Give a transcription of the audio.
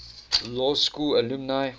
law school alumni